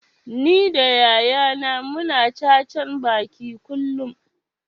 Ni da yaya na mu na cacan baki kullum